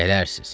Gələrsiz.